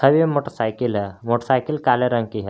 अभी ये मोटरसाइकिल है मोटरसाइकिल काले रंग की है।